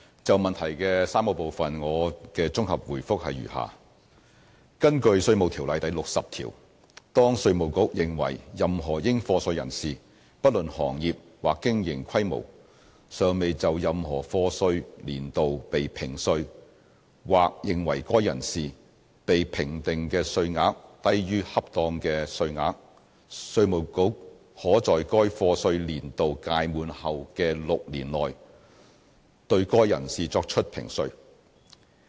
就質詢的3個部分，我的綜合答覆如下：根據《稅務條例》第60條，當稅務局認為任何應課稅人士，不論行業或經營規模，尚未就任何課稅年度被評稅，或認為該人士被評定的稅額低於恰當的稅額，稅務局可在該課稅年度屆滿後的6年內，對該人士作出評稅。